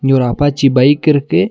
இங்க ஒரு அப்பாச்சி பைக்கிருக்கு .